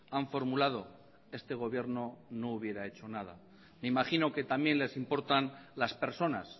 han formulado este gobierno no hubiera hecho nada me imagino que también les importan las personas